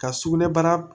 Ka sugunɛ bara